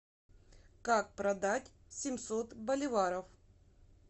как продать семьсот боливаров